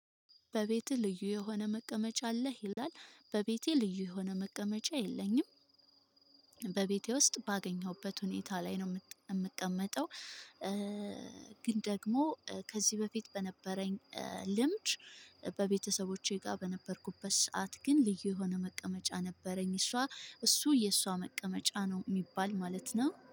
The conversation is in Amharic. በቤቱ ልዩ የሆነ መቀመጫ አለህ ይላል በቤቴ ልዩ የሆነ መቀመጫ የለኝም። በቤቴ ውስጥ ባገኘሁበት ሁኔታ ላይ ነው እምቀመጠው። ግን ደግሞ ከዚህ በፊት በነበረኝ ልምድ። በቤተሰቦቼ ጋር በነበርኩበት ሰዓት ግን ልዩ የሆነ መቀመጫ ነበረኝ እሷ እሱ የሷ መቀመጫ ነው የሚባል ማለት ነው